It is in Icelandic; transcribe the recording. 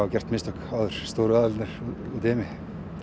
gert mistök stóru aðilarnir úti í heimi